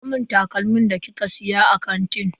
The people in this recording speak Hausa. Miko mun takalmin da kika siya a kantin.